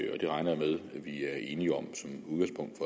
vi er enige om at